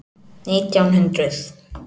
Nítján hundruð